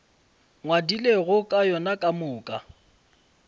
ngwadilego ka yona ka moka